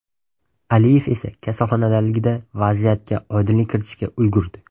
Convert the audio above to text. Aliyev esa kasalxonadaligida vaziyatga oydinlik kiritishga ulgurdi.